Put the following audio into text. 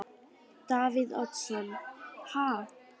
Davíð Oddsson: Ha?